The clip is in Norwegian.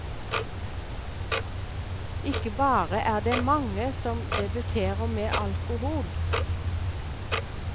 Ikke bare er det mange som debuterer med alkohol.